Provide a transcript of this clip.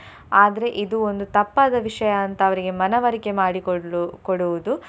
ಆದ್ರೆ ಇದು ಒಂದು ತಪ್ಪಾದ ವಿಷಯ ಅಂತ ಅವರಿಗೆ ಮನವರಿಕೆ ಮಾಡಿ ಕೊಳ್ಳು~ ಕೊಡುವುದು.